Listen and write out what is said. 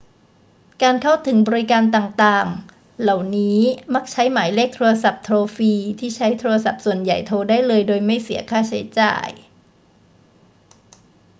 การเข้าถึงบริการต่าง ๆ เหล่านี้มักใช้หมายเลขโทรศัพท์โทรฟรีที่ใช้โทรศัพท์ส่วนใหญ่โทรได้โดยไม่เสียค่าใช้จ่าย